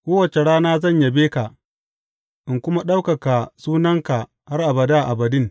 Kowace rana zan yabe ka in kuma ɗaukaka sunanka har abada abadin.